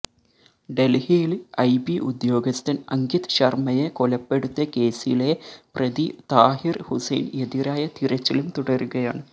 ഡൽഹിയിൽ ഐബി ഉദ്യോഗസ്ഥൻ അങ്കിത് ശർമ്മയെ കൊലപ്പെടുത്തിയ കേസിലെ പ്രതി താഹിർ ഹുസൈന് എതിരായ തിരച്ചിലും തുടരുകയാണ്